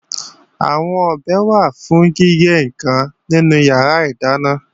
Àwọn ọ̀bẹ wà fún gígé ǹkan nínú yàrá ìdáná